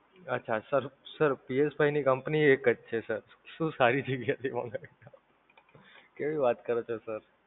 અચ્છા sir sirPSFive ની Company એકજ છે Sir, શું સારી જગ્યાએ થી મંગાવીને આપ , કેવી વાત કરો છો Sir!